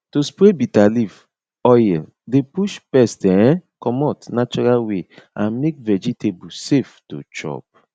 to spray bitter leaf oil dey push pest um commot natural way and make vegetable safe to chop